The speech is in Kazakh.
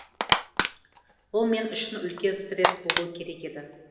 бұл мен үшін үлкен стресс болуы керек еді